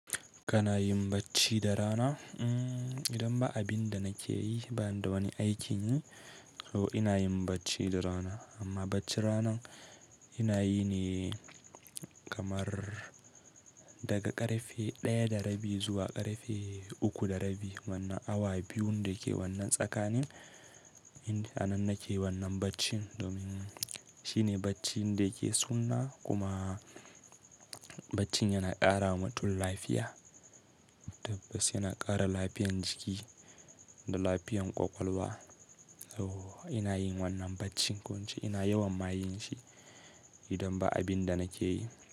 Kana yin bacci da rana? Mm, idan ba abin da nake yi ba, da wani aikin yi oh ina yin bacci da rana. Amma bacci ranan ina yi ne kamar daga ƙarfe ɗaya da rabi zuwa ƙarfe uku da rabi. Manna awa biyun da ke wannan tsakanin, inda anan nake wannan baccin domin shine baccin da yake sunna kuma bacci yana ƙara wa mutum lafiya. Tabbas yana ƙara lafiyan jiki da lafiyan ƙwaƙwalwa. So ina yin wannan baccin ko'ince ina yawan ma yin shi idan ba abin da nake yi.